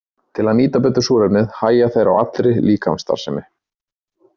Til að nýta betur súrefnið hægja þeir á allri líkamsstarfssemi.